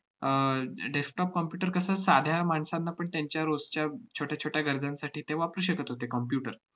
अह डे~ desktop computer कसं साध्या माणसांना पण त्यांच्या रोजच्या छोट्या छोट्या गरजांसाठी ते वापरू शकत होते computer